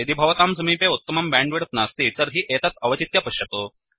यदि भवतां समीपे उत्तमं बैण्डविड्थ नास्ति तर्हि एतत् अवचित्य पश्यतु